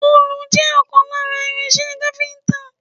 Òòlù jẹ́ ìkan lára irin-iṣẹ́ iṣẹ́ káfíńńtà.